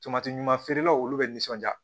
Tomati ɲuman feerelaw olu bɛ nisɔnja